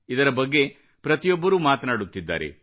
ಇದರ ಬಗ್ಗೆ ಪ್ರತಿಯೊಬ್ಬರೂ ಮಾತನಾಡುತ್ತಿದ್ದಾರೆ